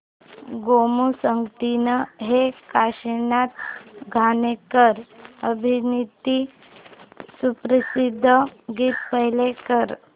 गोमू संगतीने हे काशीनाथ घाणेकर अभिनीत सुप्रसिद्ध गीत प्ले कर